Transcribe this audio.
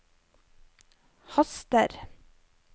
haster